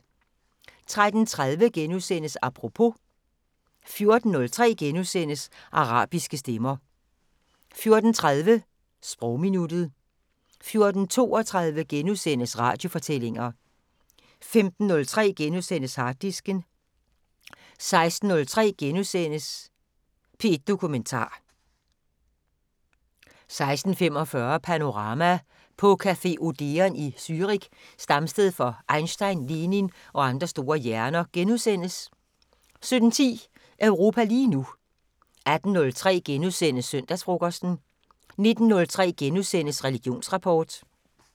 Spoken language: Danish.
13:30: Apropos * 14:03: Arabiske stemmer * 14:30: Sprogminuttet 14:32: Radiofortællinger * 15:03: Harddisken * 16:03: P1 Dokumentar * 16:45: Panorama: På café Odeon i Zürich, stamsted for Einstein, Lenin og andre store hjerner * 17:10: Europa lige nu 18:03: Søndagsfrokosten * 19:03: Religionsrapport *